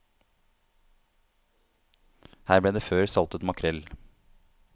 Her ble det før saltet makrell.